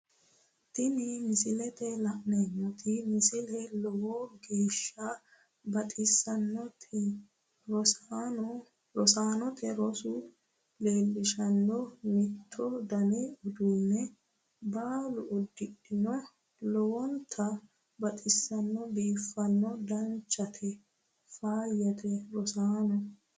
Tini misilete la'neemmoti misile lowo geeshsha baxissannoti rosaanote roso leellishshanno mittu dani uduunne baalu uddidhino lowonta baxissanno biiffanno danchate faayyate rosaano